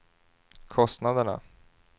kostnaderna